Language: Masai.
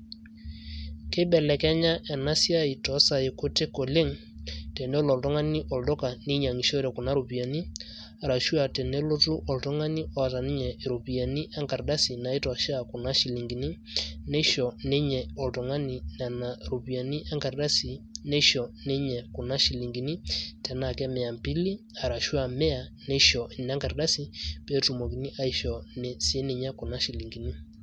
keibelekenya ena siai too saai kutik oleng',tenelo oltungani olduka ninyiang'ishore kuna ropiyiani arashu aa tenelotu oltungani oota ninye iropiyiani enkardasi, naaitoshea kuna shilinkini, neisho ninye oltung'ani, nena ropiyiani enkardasi, neisho ninye kuna shilinkini tenaa mia mbili, arashu aa mia. neisho sii ninye kuna shilinkini.